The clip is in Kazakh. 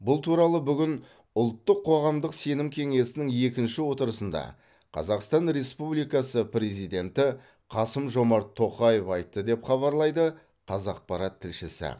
бұл туралы бүгін ұлттық қоғамдық сенім кеңесінің екінші отырысында қазақстан республикасы президенті қасым жомарт тоқаев айтты деп хабарлайды қазақпарат тілшісі